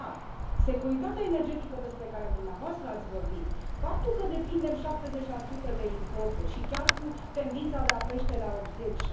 Dar securitatea energetică despre care dumneavoastră ați vorbit, faptul că depindem 70 de importuri și chiar cu tendința de a crește la 80